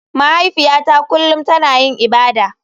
Mahaifiyata kullum tana yin ibada.